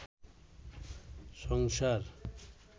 সংসার